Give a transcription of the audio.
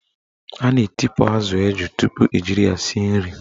A na-etipu azụ eju tupu ejiri ya sie nri.